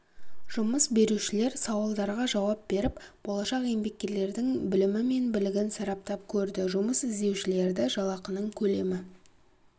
жұмыс берушілер сауалдарға жауап беріп болашақ еңбеккерлердің білімі мен білігін сараптап көрді жұмыс іздеушілерді жалақының көлемі